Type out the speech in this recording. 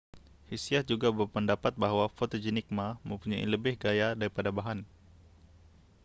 hsiah juga berpendapat bahwa fotogenik ma mempunyai lebih gaya daripada bahan